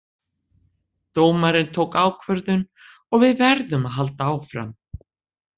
Dómarinn tók ákvörðun og við verðum að halda áfram